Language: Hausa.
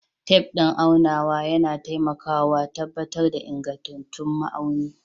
Tef din aunawa yana taimakawa tabbatar da ingantattu ma’auni.